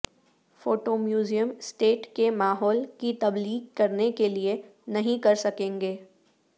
photo museum state کے ماحول کی تبلیغ کرنے کے لئے نہیں کر سکیں گے